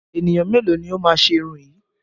Ènìyàn mélòó ni ó máa ṣe irun yìí?